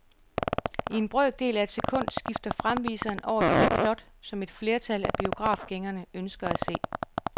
I en brøkdel af et sekund skifter fremviseren over til det plot, som et flertal af biografgængerne ønsker at se.